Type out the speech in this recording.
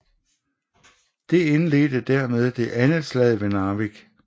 Det indledte dermed det andet slag ved Narvik